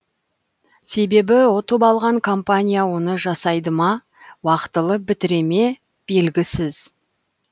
себебі ұтып алған компания оны жасайды ма уақтылы бітіре ме белгісіз